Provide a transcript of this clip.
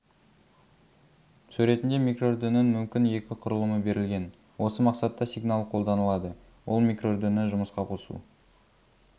суретінде микроүрдінің мүмкін екі құрылымы берілген осы мақсатта сигналы қолданылады ол микроүрдіні жұмысқа қосу